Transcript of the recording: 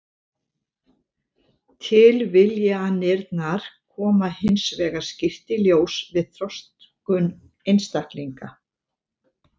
Tilviljanirnar koma hins vegar skýrt í ljós við þroskun einstaklinga.